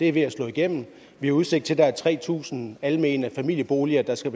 er ved at slå igennem vi har udsigt til at der er tre tusind almene familieboliger der skal